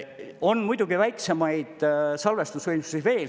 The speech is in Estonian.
On muidugi väiksemaid salvestusvõimsusi veel.